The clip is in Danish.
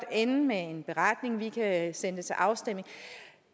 ende med en beretning og vi kan sende det til afstemning